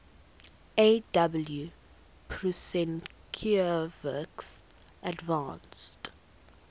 aw prusinkiewicz advanced